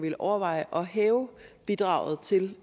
vil overveje at hæve bidraget til